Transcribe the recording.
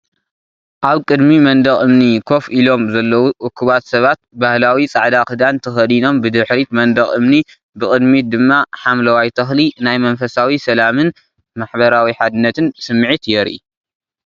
ኣብ ቅድሚ መንደቕ እምኒ ኮፍ ኢሎም ዘለዉ እኩባት ሰባት። ባህላዊ ጻዕዳ ክዳን ተኸዲኖም፣ ብድሕሪት መንደቕ እምኒ ብቅድሚት ድማ ሓምለዋይ ተኽሊ። ናይ መንፈሳዊ ሰላምን ማሕበራዊ ሓድነትን ስምዒት የርኢ።